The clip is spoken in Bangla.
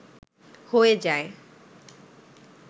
হয়ে যায়